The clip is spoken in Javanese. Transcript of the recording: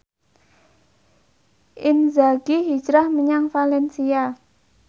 Inzaghi hijrah menyang valencia